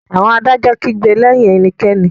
Àwọn adájọ́ kìí gbè lẹyìn ẹnikẹ́ni.